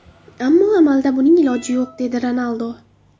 Ammo amalda buning iloji yo‘q”, dedi Ronaldu.